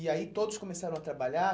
E aí, todos começaram a trabalhar?